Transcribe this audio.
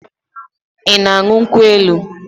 I na-aṅụ nkwụ elu?